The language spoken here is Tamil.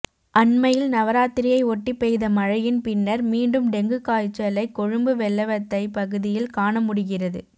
அண்மையில் நவராத்திரியை ஒட்டிப் பெய்த மழையின் பின்னர் மீண்டும் டெங்கு காய்சலை கொழும்பு வெள்ளவத்தைப் பகுதியில் காண முடிகிறது